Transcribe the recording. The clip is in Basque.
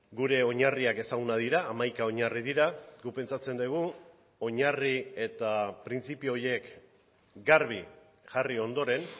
gure oinarriak ezagunak dira hamaika oinarri dira guk pentsatzen dugu oinarri eta printzipio horiek garbi jarri ondoren